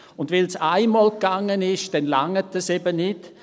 Wenn es einmal gegangen ist, dann reicht das eben nicht.